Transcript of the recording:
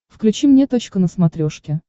включи мне точка на смотрешке